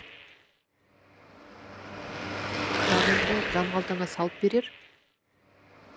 жаныңды жан қалтаңа салып берер